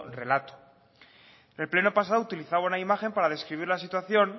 relato en el pleno pasado utilizaba una imagen para describir la situación